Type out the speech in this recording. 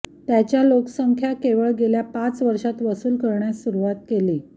त्याच्या लोकसंख्या केवळ गेल्या पाच वर्षांत वसूल करण्यास सुरूवात केली